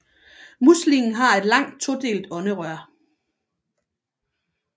Muslingen har et langt todelt ånderør